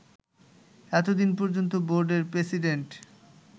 এতদিন পর্যন্ত বোর্ডের প্রেসিডেন্ট